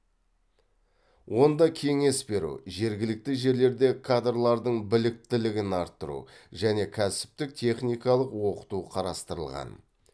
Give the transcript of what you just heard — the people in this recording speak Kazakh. онда кеңес беру жергілікті жерлерде кадрлардың біліктілігін арттыру және кәсіптік техникалық оқыту қарастырылған